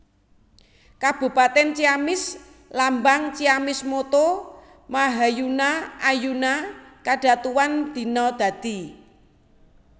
Kabupatèn CiamisLambang CiamisMotto Mahayuna Ayuna Kadatuan Dina Dadi